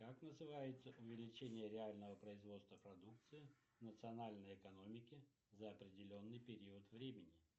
как называется увеличение реального производства продукции национальной экономики за определенный период времени